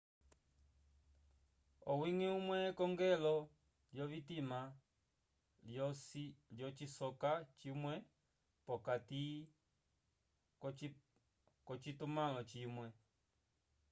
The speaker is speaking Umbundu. owiñgi umwe ekongelo lyovitima lyocisoka cimwe p'okati k'ocitumãlo cimwe